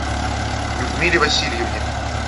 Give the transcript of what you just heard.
людмиле васильевне